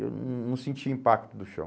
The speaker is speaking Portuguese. Eu não não não sentia impacto do chão.